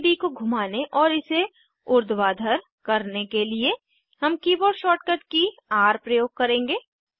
lead को घुमाने और इसे ऊर्ध्वाधर करने के लिए हम कीबोर्ड शॉर्टकट की र प्रयोग करेंगे